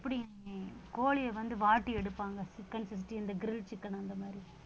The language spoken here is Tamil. கோழியை வந்து வாட்டி எடுப்பாங்க chicken fifty இந்த grill chicken அந்த மாதிரி